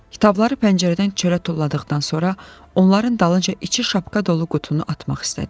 Kitabları pəncərədən çölə tulladıqdan sonra onların dalınca içi şapka dolu qutunu atmaq istədim.